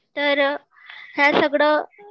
ते हे सगळं